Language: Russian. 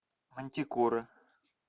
мантикора